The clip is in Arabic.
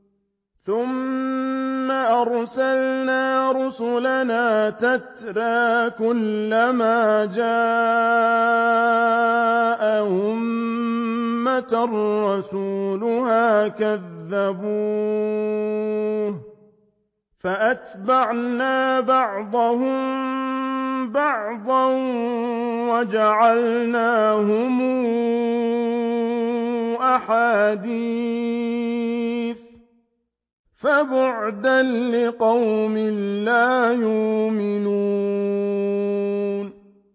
ثُمَّ أَرْسَلْنَا رُسُلَنَا تَتْرَىٰ ۖ كُلَّ مَا جَاءَ أُمَّةً رَّسُولُهَا كَذَّبُوهُ ۚ فَأَتْبَعْنَا بَعْضَهُم بَعْضًا وَجَعَلْنَاهُمْ أَحَادِيثَ ۚ فَبُعْدًا لِّقَوْمٍ لَّا يُؤْمِنُونَ